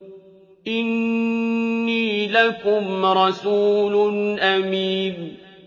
إِنِّي لَكُمْ رَسُولٌ أَمِينٌ